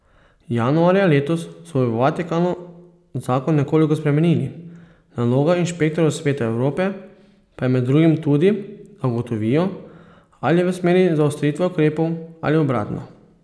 Januarja letos so v Vatikanu zakon nekoliko spremenili, naloga inšpektorjev Sveta Evrope pa je med drugim tudi, da ugotovijo, ali v smeri zaostritve ukrepov ali obratno.